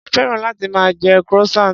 Mo féràn láti máa jẹ croissant.